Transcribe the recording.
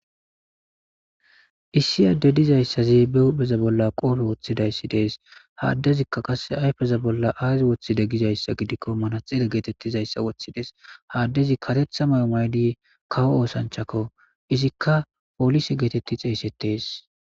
Issi addey diizaysazi be huphpheza bolla qoppe woththidayssi dess ha adezika qasse ayffeza bolla aazi woththide giizayssa giddikko manaxxire gettetizayssa woththides ha adezi kareththa maayo mayidi kawo othanchako izzika pollise getteti xeyssetes.